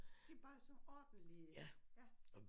De bare sådan ordentlige ja